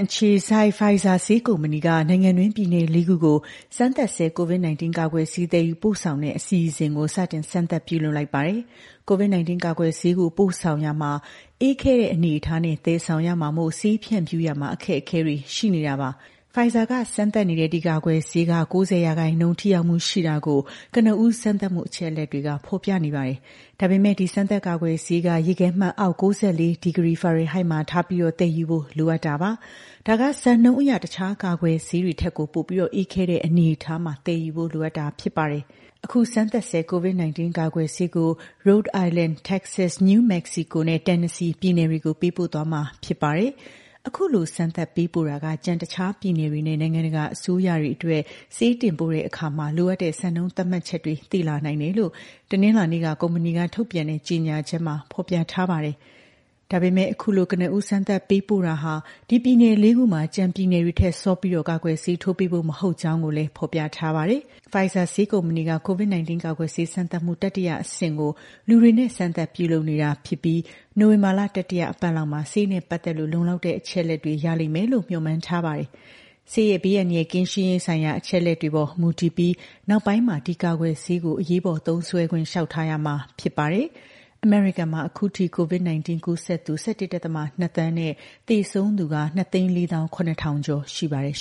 အခြေစိုက် Pfizer ဆေးကုမ္ပဏီ က နိုင်ငံတွင်း ပြည်နယ် လေးခုကို စမ်းသပ်ဆဲ COVID-19 ကာကွယ်ဆေး သယ်ယူပို့ဆောင်တဲ့ အစီအစဉ် ကို စတင်စမ်းသပ်ပြုလုပ်လိုက်ပါတယ်။ COVID-19 ကာကွယ်ဆေး ကို ပို့ဆောင်ရာမှာ အေးခဲထားတဲ့အနေအထားနဲ့ သယ်ဆောင်ရမှာမို့ ဆေးဖြန့်ဖြူးရာမှာ အခက်အခဲတွေရှိနေတာပါ။ Pfizer က စမ်းသပ်နေတဲ့ ဒီကာကွယ်ဆေးက ၉၀ ရာခိုင်နှုန်း ထိရောက်မှုရှိတာကို ကနဦးစမ်းသပ်မှု အချက်အလက်တွေက ဖော်ပြနေပါတယ်။ ဒါပေမဲ့ ဒီစမ်းသပ်ကာကွယ်ဆေးက ရေခဲမှတ်အောက် ၉၄ ဒီဂရီ (- ၉၄ ဒီဂရီ) ဖာရင်ဟိုက် မှာထားပြီး သယ်ယူဖို့ လိုအပ်တာပါ။ ဒါက စံနှုန်းအရ တခြားကာကွယ်ဆေးတွေထက်ကို ပိုပြီးအေးခဲတဲ့ အနေအထားမှာသယ်ယူဖို့ လိုအပ်တာဖြစ်ပါတယ်။ အခု စမ်းသပ်ဆဲ COVID-19 ကာကွယ်ဆေးကို Rhode Island ၊ Texas၊ New Mexico နဲ့ Tennessee ပြည်နယ်တွေကို ပေးပို့သွားမှာဖြစ်ပါတယ်။ အခုလို စမ်းသပ်ပေးပို့တာက ကျန်တခြားပြည်နယ်တွေနဲ့ နိုင်ငံတကာအစိုးရတွေအတွက် ဆေးတင်ပို့တဲ့အခါ လိုအပ်တဲ့ စံနှုန်းသတ်မှတ်ချက်တွေ သိလာနိုင်တယ်လို့ တနင်္လာနေ့က ကုမ္ပဏီက ထုတ်ပြန်တဲ့ ကြေညာချက်မှာ ဖော်ပြထားပါတယ်။ ဒါပေမဲ့ အခုလို ကနဦး စမ်းသပ်ပေးပို့တာက ဒီပြည်နယ် လေးခုမှာ ကျန်ပြည်နယ်တွေထက် စောပြီးကာကွယ်ဆေးထိုးပေးဖို့ မဟုတ်ကြောင်းလည်း ဖော်ပြထားပါတယ်။ Pfizer ဆေးကုမ္ပဏီက COVID-19 ကာကွယ်ဆေး စမ်းသပ်မှု တတိယအဆင့်ကို လူတွေနဲ့ စမ်းသပ်ပြုလုပ်နေတာဖြစ်ပြီး နိုဝင်ဘာလ တတိယအပတ်လောက်မှာ ဆေးနဲ့ ပတ်သက်လို့ လုံလောက်တဲ့ အချက်အလက်တွေ ရလိမ့်မယ်လို့ မျှော်မှန်းထားပါတယ်။ ဆေးရဲ့ ဘေးအန္တရာယ်ကင်းရှင်းရေးဆိုင်ရာ အချက်အလက်တွေပေါ် မူတည်ပြီး နောက်ပိုင်းမှာ ဒီကာကွယ်ဆေးကို အရေးပေါ် သုံးစွဲခွင့် လျှောက်ထားရမှာဖြစ်ပါတယ်။ အမေရိကန်မှာ အခုအထိ COVID-19 ကူးစက်သူ ၁၁.၂ သန်းနဲ့ သေဆုံးသူက ၂၄၇,၀၀၀ ကျော်ရှိပါတယ်